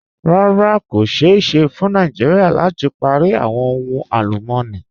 Rárá, kò ṣéè ṣẹ́ fún Nàìjíríà láti pári awọn ohun alùmọ̀ní.